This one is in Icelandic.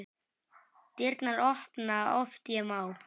Dyrnar opna oft ég má.